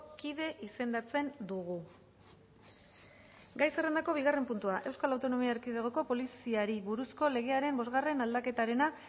kide izendatzen dugu gai zerrendako bigarren puntua euskal autonomia erkidegoko poliziari buruzko legearen bosgarren aldaketaren